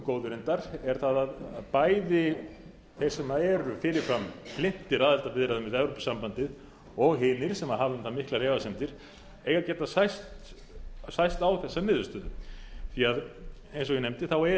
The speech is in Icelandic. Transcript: góðu reyndar er það að bæði þeir sem eru fyrir fram hlynntir aðildarviðræðum við evrópusambandið og hinir sem hafa um það miklar efasemdir eiga að geta sæst á þessa niðurstöðu því að eins og ég nefndi er